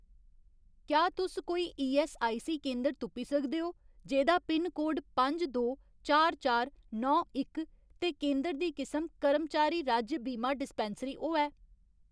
क्या तुस कोई ईऐस्सआईसी केंदर तुप्पी सकदे ओ जेह्‌दा पिनकोड पंज दो चार चार नौ इक ते केंदर दी किसम कर्मचारी राज्य बीमा डिस्पैंसरी होऐ ?